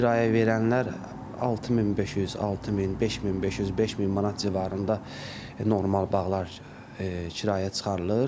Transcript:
Kirayə verənlər 6500, 6000, 5500, 5000 manat civarında normal bağlar kirayəyə çıxarılır.